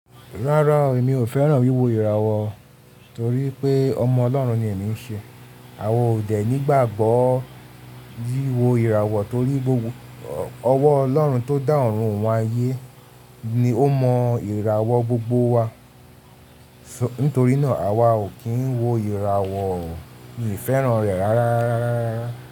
Rárá, èmi ò fẹ́ràn wíwo ìràwọ̀ torí pé ọmọ Ọlọ́run ni èmi ń ṣe. Àwa ò dè nígbàgbọ́ wíwo ìràwọ̀ torí pé Ọlọ́run tó dá ọ̀run wọn ayé ni ó mọ ìràwọ̀ gbogbo wa. Nítorí náà, àwa ò kí ń wo ìràwọ̀ miìfẹ́ràn rẹ̀ rárá.